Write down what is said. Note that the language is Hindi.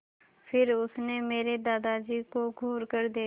फिर उसने मेरे दादाजी को घूरकर देखा